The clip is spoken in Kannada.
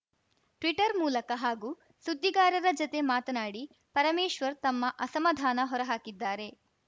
ಟ್ವೀಟರ್‌ ಮೂಲಕ ಹಾಗೂ ಸುದ್ದಿಗಾರರ ಜತೆ ಮಾತನಾಡಿ ಪರಮೇಶ್ವರ್‌ ತಮ್ಮ ಅಸಮಾಧಾನ ಹೊರಹಾಕಿದ್ದಾರೆ